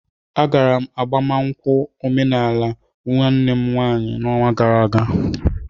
Agara m agbamakwụkwọ omenaala nwanne m nwaanyị n'ọnwa gara aga